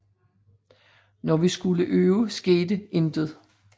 Når vi skulle øve skete intet